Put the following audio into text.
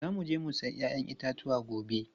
Za mu je mu sayi 'ya'yan itatuwa gobe.